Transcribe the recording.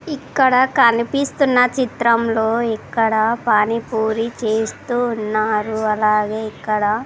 ఇక్కడ కనిపిస్తున్న చిత్రంలో ఇక్కడ పానీపూరి చేస్తూ ఉన్నారు అలాగే ఇక్కడ --